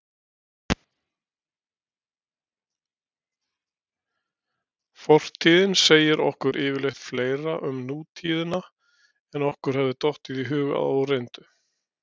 Fortíðin segir okkur yfirleitt fleira um nútíðina en okkur hefði dottið í hug að óreyndu.